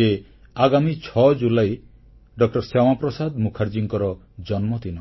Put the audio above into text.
ଯେ ଆଗାମୀ 6 ଜୁଲାଇ ଡ ଶ୍ୟାମାପ୍ରସାଦ ମୁଖାର୍ଜୀଙ୍କର ଜନ୍ମଦିନ